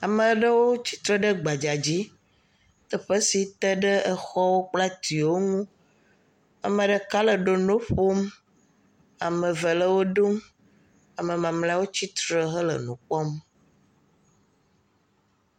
Ama ɖewo tsi tre ɖe gbadza dzi teƒe sit e ɖe exɔwo kple atiwo ŋu. Ame ɖeka le ɖoɖoŋ ƒom. Ame ve le wɔ ɖum. Ame mamlɛwo tsitre hele nu kpɔm.